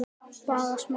Bara smá.